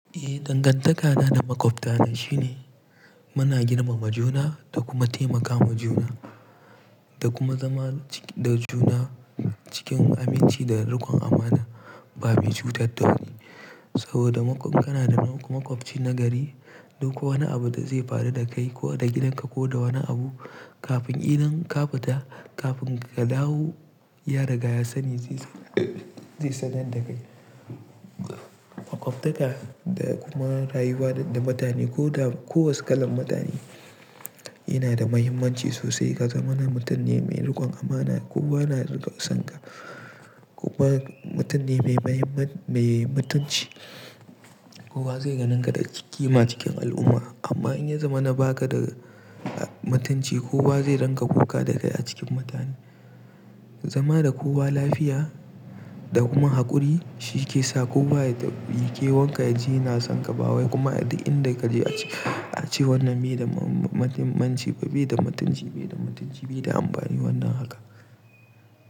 Eh, dangantaka na da maƙwabta na shine muna girmama juna da kuma taimaka wa juna da kuma zama da juna cikin aminci da riƙon amana babu cutar da wani. Saboda maƙwabci kana da maƙwabci na gari, duk wani abu da zai faru da kai ko da gidanka ko da wani abu, kafin idan ka fita, kafin ka dawo, ya riga ya sani zai san dakai. Maƙwabtaka da kuma rayuwa da mutane ko da kowace kalan mutane yana da muhimmanci sosai. Ka zama na mutum ne mai riƙon amana ko ba na riƙon sanka, ko ba mutum ne mai mutunci, kowa zai ganinka da ƙima cikin al'umma. Amma in ya zama na baka da mutunci, kowa zai rinka kuka da kai a cikin mutane. Zama da kowa lafiya da kuma haƙuri shi ke sa kowa ya tabbi ke, wanka yaji na sanka ba wai kuma inda kaje a ce wannan bai da muhimmanci ba, bai da mutunci, bai da mutunci, bai da amfani wannan haka.